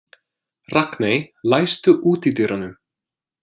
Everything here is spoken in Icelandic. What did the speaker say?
Ragney, læstu útidyrunum.